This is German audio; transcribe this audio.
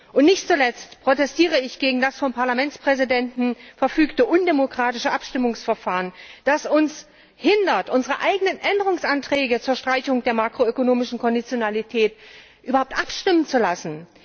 Und nicht zuletzt protestiere ich gegen das vom Parlamentspräsidenten verfügte undemokratische Abstimmungsverfahren, das uns hindert, über unsere eigenen Änderungsanträge zur Streichung der makro ökonomischen Konditionalitäten überhaupt abstimmen zu lassen.